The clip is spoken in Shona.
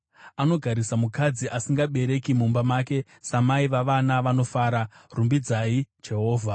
Anogarisa mukadzi asingabereki mumba make, samai vavana vanofara. Rumbidzai Jehovha.